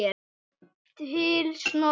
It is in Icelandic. Til Snorra.